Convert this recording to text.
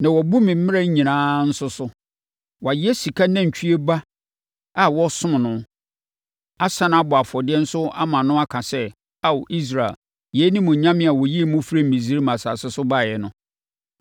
na wɔabu me mmara nyinaa nso so. Wɔayɛ sika nantwie ba a wɔsom no, asane abɔ afɔdeɛ nso ama no aka sɛ, ‘Ao, Israel, yei ne mo nyame a ɔyii mo firii Misraim asase so baeɛ no.’ ”